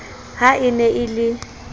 ha e ne e le